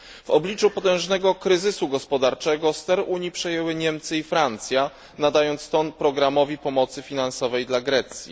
W obliczu potężnego kryzysu gospodarczego ster Unii przejęły Niemcy i Francja, nadając ton programowi pomocy finansowej dla Grecji.